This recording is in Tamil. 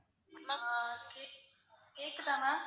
ma'am ஆஹ் கேக்~ கேக்குதா ma'am